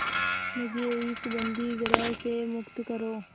मुझे इस बंदीगृह से मुक्त करो